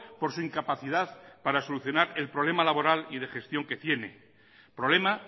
por su incapacidad para solucionar el problema laboral y de gestión que tiene problema